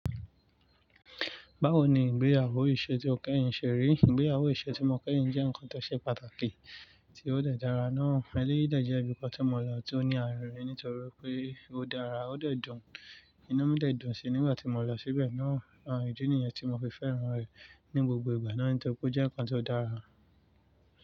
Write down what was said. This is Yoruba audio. Báwo ni ìgbéyàwó iṣẹ́ tí ó kẹ́yìn ṣe rí? Ìgbéyàwó iṣẹ́ tí mo kẹ́yìn jẹ́ nǹkan tó ṣe pàtàkì tí ó dára náà. Ẹ̀léyìí dà jẹ́ enikan tí mo yan tí ó ní àra nítorí pé ó dára, ó dé dun. Inú mi de dun sí nígbà tí mo lọ síbẹ̀ náà. Ìdí nìyẹn tí mo fi fẹ́ran rẹ̀ ní gbogbo ìgbà náà nítorí pé ó jẹ́ nǹkan tó dára.